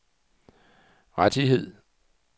rettigheder